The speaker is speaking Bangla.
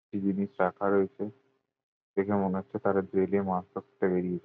কি জিনিস রাখা রয়েছে। দেখে মনে হচ্ছে তারা জেলে মাছ ধরতে বেরিয়েছে।